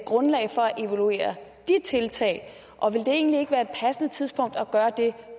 grundlag for at evaluere de tiltag og vil det egentlig ikke være et passende tidspunkt at gøre det